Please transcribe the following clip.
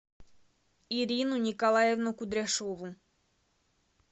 ирину николаевну кудряшову